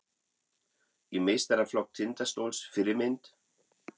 Í meistaraflokk Tindastóls Fyrirmynd?